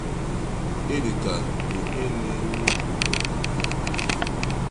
Ịdị ka ìhè na-enwu n’Obodo ìhè.